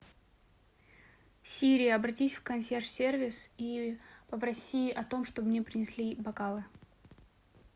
сири обратись в консьерж сервис и попроси о том чтобы мне принесли бокалы